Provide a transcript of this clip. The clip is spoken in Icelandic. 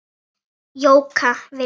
Jóka vildi.